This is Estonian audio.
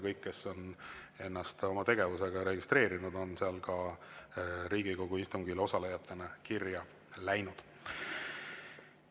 Kõik, kes on ennast oma tegevusega registreerinud, on seal Riigikogu istungil osalejatena ka kirja läinud.